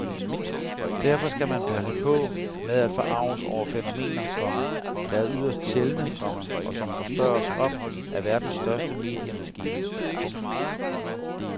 Derfor skal man passe på med at forarges over fænomener, komma der er yderst sjældne, komma og som forstørres op af verdens største mediemaskine. punktum